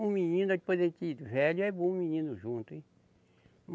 Um menino, depois da gente velho é bom um menino junto, hein?